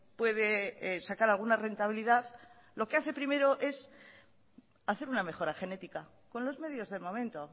puede sacar alguna rentabilidad lo que hace primero es hacer una mejora genética con los medios del momento